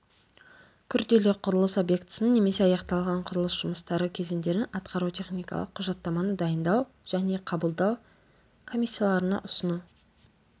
күрделі құрылыс объектісін немесе аяқталған құрылыс жұмыстары кезеңдерін атқару-техникалық құжаттаманы дайындау және қабылдау комиссияларына ұсыну